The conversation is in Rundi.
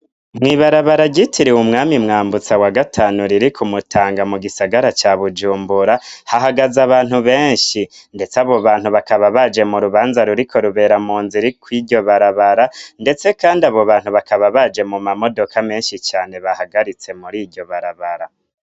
Mwibarabara gitiriwe umwami mwambutsa wa gatanu ririko umutanga mu gisagara ca bujumbura hahagaze abantu benshi, ndetse abo bantu bakaba baje mu rubanza ruriko rubera mu nziriko'iryo barabara, ndetse, kandi abo bantu bakaba baje mu mamodoka menshi cane bahagaritse muri iryo barabara.